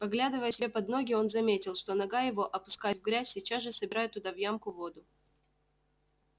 поглядывая себе под ноги он заметил что нога его опускаясь в грязь сейчас же собирает туда в ямку воду